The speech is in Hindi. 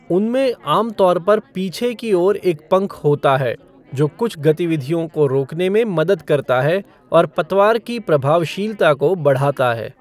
उनमें आमतौर पर पीछे की ओर एक पंख होता है, जो कुछ गतिविधियों को रोकने में मदद करता है और पतवार की प्रभावशीलता को बढ़ाता है।